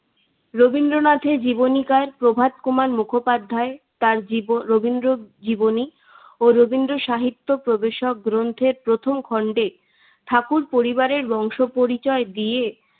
রাবীনাথের জীবনীকার প্রভাত কুমার মুখোপাধ্যার তার জীব রবীন্দ্র জীবনী ও রবীন্দ্র সাহিত্য প্রবেশক গ্রন্থের প্রথম খন্ডে ঠাকুর পরিবারের বংশ পরিচয় দিয়ে